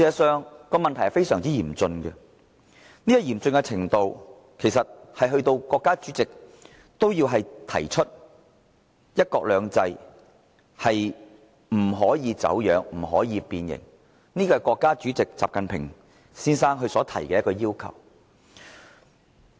這問題非常嚴峻，嚴峻程度足以令國家主席也要提出"一國兩制"不可以走樣，不可以變形，這是國家主席習近平先生所提出的要求。